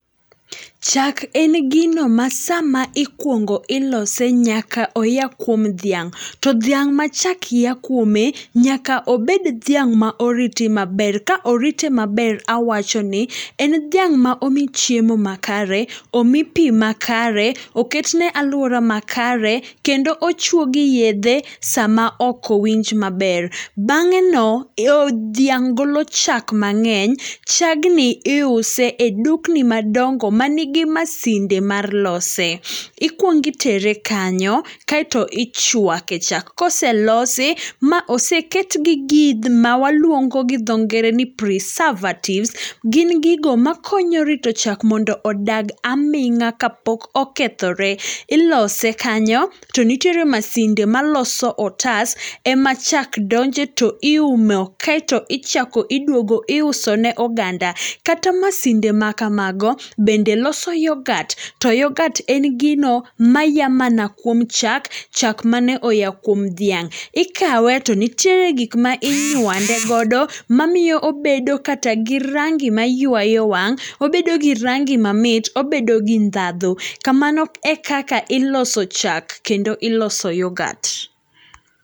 Chak en gino ma sama ikuongo ilose nyaka oya kuom dhiang'. To dhiang' ma chak ya kuome, nyaka obed dhiang' ma oriti maber, ka orite maber awachoni, en dhiang' ma omi chiemo makare, omi pii makare, oketne aluora makare, kendo ochuogi yedhe sama okowinj maber. Bang'eno dhiang' golo chak mang'eny, chagni iuse e dukni madongo manigi masinde mar lose. Ikuongi itere kanyo kaeto ichuake chak, koselosi maoseketgi gigma mawaluongo gi dho ngere ni preservatives, gin gigo makonyo rito chak mondo odag aming'a kapok okethore. Ilose kanyo, to nitiere masinde maloso otas, emachak donje toiumo, kaeto ichak iduogo iusone oganda. Kata masinde makamago bende loso yoghurt[cs. To yoghurt en gino maya mana kuom chak, chak mane oya kuom dhiang'. Ikawe to nitiere gikma inywande godo mamiyo obedo kata gi rangi mayuayo wang'. Obedogi rangi mamit, obedogi ndhadho. Kamano e kaka iloso chak, kendo iloso yoghurt.